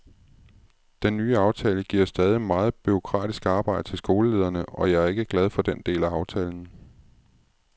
Den nye aftale giver stadig meget bureaukratisk arbejde til skolelederne, og jeg er ikke glad for den del af aftalen.